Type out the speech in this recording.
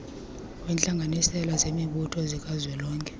wentlanganisela zemibutho zikazwelonke